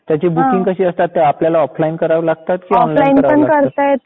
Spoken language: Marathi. त्यांची बुकिंग कशी असतात ते आपल्याला ऑफलाईन करावे लागतात की ऑनलाईन करावे लागतात?